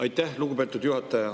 Aitäh, lugupeetud juhataja!